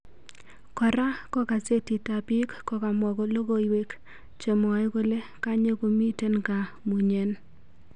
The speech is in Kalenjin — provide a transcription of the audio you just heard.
Kora ko gazetit ap pik komamwa logowek chemwae kole kanye komiten gaa mmunyen